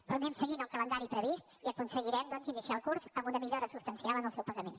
però anem seguint el calendari previst i aconseguirem doncs iniciar el curs amb una millora substancial en el seu pagament